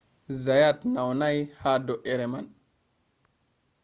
zayat naunai ha do’ere man